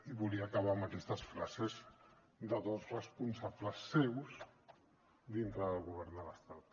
i volia acabar amb aquestes frases de dos responsables seus dintre del govern de l’estat